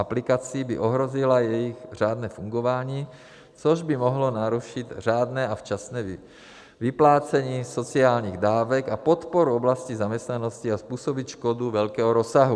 OKaplikací by ohrozila jejich řádné fungování, což by mohlo narušit řádné a včasné vyplácení sociálních dávek a podporu oblasti zaměstnanosti a způsobit škodu velkého rozsahu.